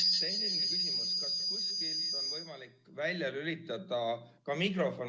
Selline küsimus: kas kuskilt on võimalik mikrofon välja lülitada?